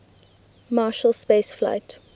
marshall space flight